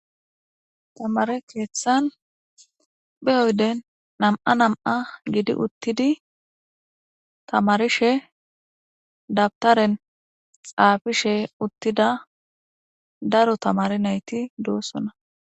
Tamare keeththan beyoyden nam7a nam7a gidi uttidi tamarishe dabtaren xaafishe uttida daro tamari nayti doossuna.